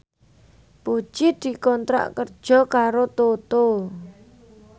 Puji dikontrak kerja karo Toto